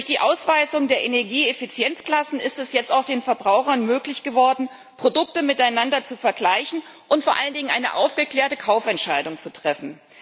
Durch die Ausweisung der Energieeffizienzklassen ist es jetzt auch den Verbrauchern möglich geworden, Produkte miteinander zu vergleichen und vor allen Dingen eine aufgeklärte Kaufentscheidung zu treffen.